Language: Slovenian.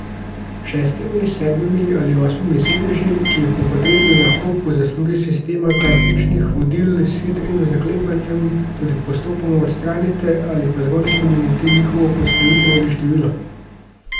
S šestimi, sedmimi ali osmimi sedeži, ki jih po potrebi lahko po zaslugi sistema praktičnih vodil s hitrim zaklepanjem tudi popolnoma odstranite ali pa zgolj spremenite njihovo postavitev in število.